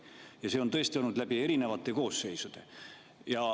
Ja see on tõesti olnud läbi erinevate koosseisude.